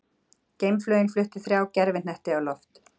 Geimflaugin flutti þrjá gervihnetti á loft